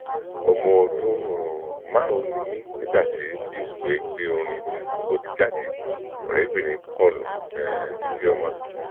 ọmọ ọdún um márùn ún ni mí nígbà tí psquare gbé orin biszy body jáde ọrẹbìnrin paul um ifeoma